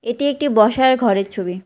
এটি একটি বসার ঘরের ছবি।